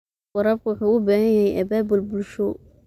Waraabka waxa uu u baahan yahay abaabul bulsho.